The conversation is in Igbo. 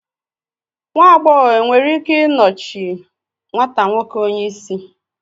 nwa agbọghọ e nwere ike nọchie nwata nwoke onye isi